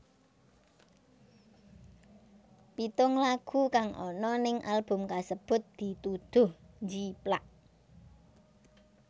Pitung lagu kang ana ning album kasebut dituduh njiplak